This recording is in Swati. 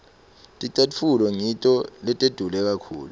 ticatfulo ngito letidule kakhulu